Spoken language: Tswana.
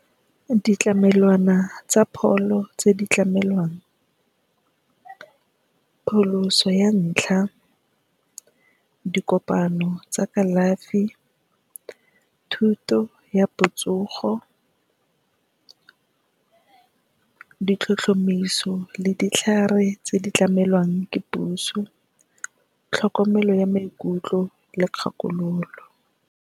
Ditlamelwana tsa pholo tse di tlamelwang pholoso. Ya ntlha, dikopano tsa kalafi, thuto ya botsogo, ditlhotlhomiso le ditlhare tse di tlamelwang ke puso le tlhokomelo ya maikutlo le kgakololo.